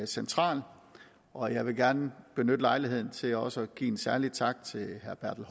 central og jeg vil gerne benytte lejligheden til også at en særlig tak til herre bertel